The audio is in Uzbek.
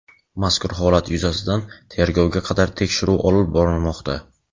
Mazkur holat yuzasidan tergovga qadar tekshiruv olib borilmoqda.